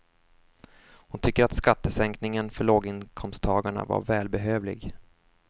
Hon tycker att skattesänkningen för låginkomsttagarna var välbehövlig.